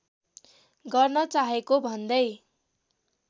गर्न चाहेको भन्दै